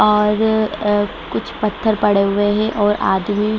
और अ कुछ पत्थर पड़े हुए है और आदमी --